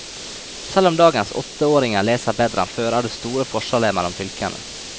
Selv om dagens åtteåringer leser bedre enn før, er det store forskjeller mellom fylkene.